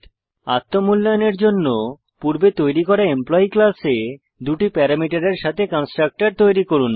আত্ম মূল্যায়নের জন্য পূর্বে তৈরী করা এমপ্লয়ী ক্লাসে দুটি প্যারামিটারের সাথে কন্সট্রকটর তৈরী করুন